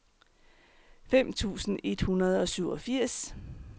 fem tusind et hundrede og syvogfirs